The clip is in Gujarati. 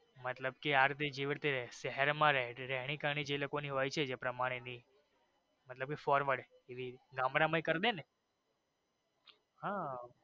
મતલબ કે આર્થિક જેવી રીતે શહેર માં જે રહે છે રહેણીકેરી જે લોકો ની હોઈ છે જે પ્રમાણે ની બધું forward એવી ગામડા માં પણ કરી દયે ને.